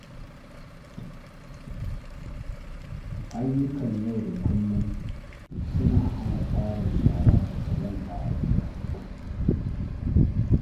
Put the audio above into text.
Ayyukan yau da kullum suna hana tarin shara da ƙazanta a gida.